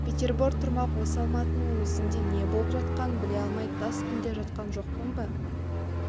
петербор тұрмақ осы алматыңның өзінде не болып жатқанын біле алмай тас інде жатқан жоқпын ба